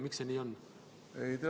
Miks see nii on?